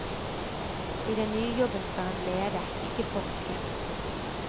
I den nye jobben skal han lede, ikke forske.